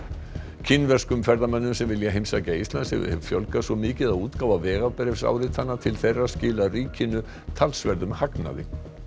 kínverskum ferðamönnum sem vilja heimsækja Ísland hefur fjölgað svo mikið að útgáfa vegabréfsáritana til þeirra skilar ríkinu talsverðum hagnaði